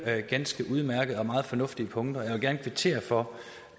ganske udmærkede og meget fornuftige punkter og jeg vil gerne kvittere for